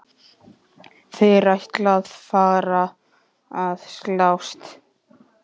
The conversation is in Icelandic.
Þeir ætla að fara að slást!